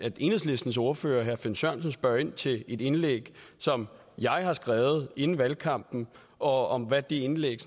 enhedslistens ordfører herre finn sørensen spørger ind til et indlæg som jeg har skrevet inden valgkampen og hvad det indlæg